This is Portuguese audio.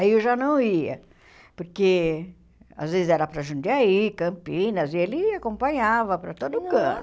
Aí eu já não ia, porque às vezes era para Jundiaí, Campinas, e ele acompanhava para todo canto.